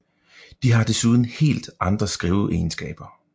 De har desuden helt andre skriveegenskaber